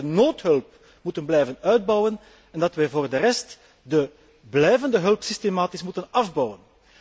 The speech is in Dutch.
Ik denk dat wij de noodhulp moeten blijven uitbouwen en dat wij voor de rest de blijvende hulp systematisch moeten afbouwen.